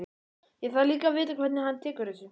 Ég þarf líka að vita hvernig hann tekur þessu.